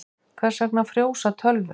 Hvers vegna frjósa tölvur?